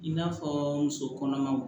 I n'a fɔ muso kɔnɔmaw